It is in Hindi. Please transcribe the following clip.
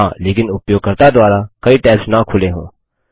हाँ लेकिन उपयोगकर्ता द्वारा कई टैब्स न खुलें हों